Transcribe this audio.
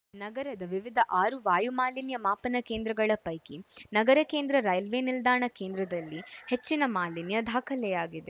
ನಗರದ ವಿವಿಧ ಆರು ವಾಯುಮಾಲಿನ್ಯ ಮಾಪನ ಕೇಂದ್ರಗಳ ಪೈಕಿ ನಗರ ಕೇಂದ್ರ ರೈಲ್ವೆ ನಿಲ್ದಾಣ ಕೇಂದ್ರದಲ್ಲಿ ಹೆಚ್ಚಿನ ಮಾಲಿನ್ಯ ದಾಖಲಾಗಿದೆ